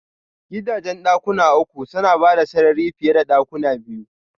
Gidajen dakuna uku suna bada sarari fiye da dakuna biyu.